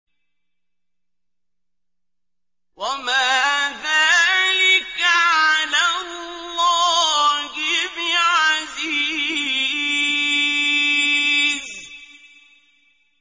وَمَا ذَٰلِكَ عَلَى اللَّهِ بِعَزِيزٍ